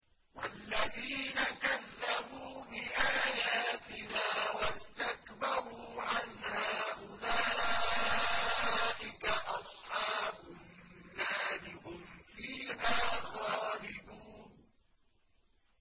وَالَّذِينَ كَذَّبُوا بِآيَاتِنَا وَاسْتَكْبَرُوا عَنْهَا أُولَٰئِكَ أَصْحَابُ النَّارِ ۖ هُمْ فِيهَا خَالِدُونَ